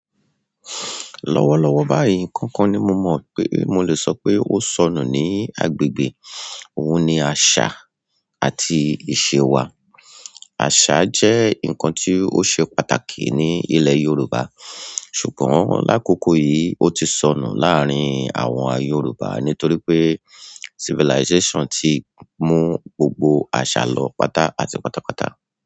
Lọ́wọ́lọ́wọ́ báyìí, nkankan ni mo mọ̀ pé mo lè sọ pé ó sọnù ní agbègbè. Òun ni àṣà àti ìṣe wa. Àṣà jẹ́ ǹkan tí ó ṣe pàtàkì ní ilẹ̀ Yorùbá, ṣùgbọ́n lákòókò yìí, ó ti sọnù láàárín àwọn Yorùbá nítorí pé civilization ti mú gbogbo àṣà lọ pátá àti pátápátá.